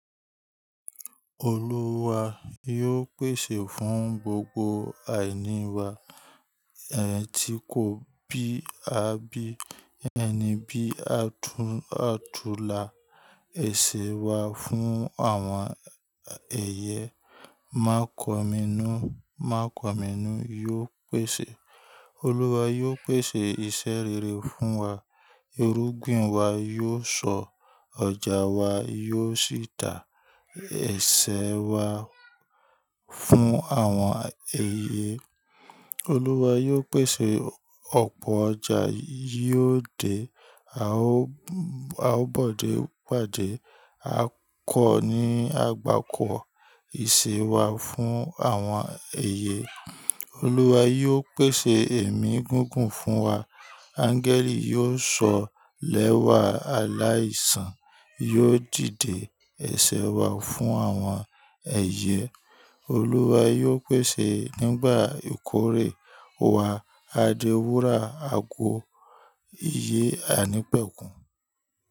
Olúwa yóò pèsè fún gbogbo àìní wa, ẹti ko bí abi ẹni bí, àtúnàtùlà ẹṣẹ̀ wa fún àwọn ẹ̀yẹ. Má kọ mí nù, má kọ mí nù yóò pèsè. Olúwa yóò pèsè iṣẹ́ rere fún wa. Irúgbìn wa yóò sọ, ọjà wa yóò sì tà ẹṣẹ̀ wa fún àwọn ẹ̀yẹ. Olúwa yóò pèsè ọ̀pọ̀ ọjà, yóò dé à ó à ó bòdé pàdé. A kọ́ ni àgbákọ́ ìṣe wá fún àwọn ẹ̀yẹ. Olúwa yóò pèsè èmí gígùn fún wa. Áńgẹ́lì yóò sọ lẹ́wà, aláìsàn yóò dìde. Ẹ̀ṣẹ̀ wa fún àwọn ẹ̀yẹ. Olúwa yóò pèsè nígbà ìkórè wa. A dé wúrà ago ìyẹ́ àìnípẹ̀kun.